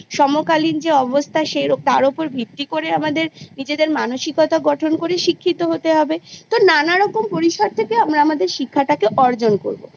সমকালীন যে অবস্থা তার ওপর ভিত্তি করে আমাদের মানসিকতা গঠন করে শিক্ষিত হতে হবে তো নানারকম পরিসর থেকে আমরা আমাদের শিক্ষাটাকে অর্জন করবো